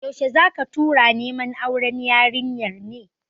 Yaushe zaka tura neman auren yarinyar ne?